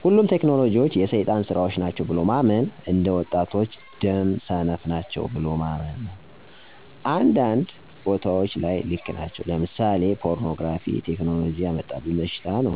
ሁሉም ቴክኖሎጂዎች የ ሰይጣን ስራዎች ናቸው ብሎ ማመን አነ ወጣቶች ደም ሰነፈ ናቸወ ብሎ ማመን። አንዳንድ ቦታዎች ላይ ልክ ናቸው ለምሳሌ ፖርኖግራፊ ቴክኖሎጂ ያመጣብን በሽታ ነው።